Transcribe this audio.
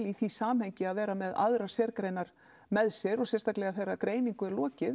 í því samhengi að vera með aðrar sérgreinar með sér og sérstaklega þegar greiningu er lokið